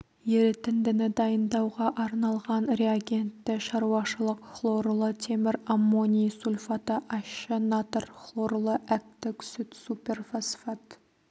ерітіндіні дайындауға арналған реагентті шаруашылық хлорлы темір аммоний сульфаты ащы натр хлорлы әктік сүт суперфосфат